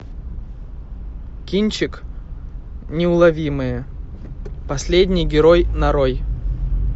кинчик неуловимые последний герой нарой